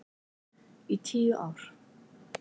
Í tíu ár.